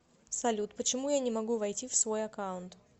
салют почему я не могу войти в свой аккаунт